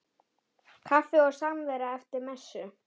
Kaffi og samvera eftir messu.